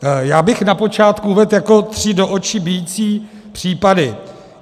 Já bych na počátku uvedl jako tři do očí bijící případy.